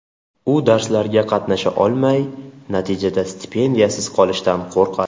U darslarga qatnasha olmay, natijada stipendiyasiz qolishdan qo‘rqadi.